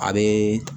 A be